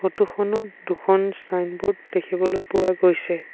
Photo খনত দুখন signboard দেখিবলৈ পোৱা গৈছে।